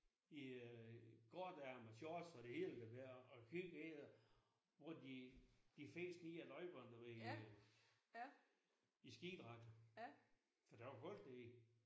I øh kortærmet og shorts det hele der og kigget ind hvor de de fes nedad løjperne du ved i skidragter for der var koldt derinde